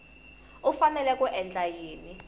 u fanele ku endla yini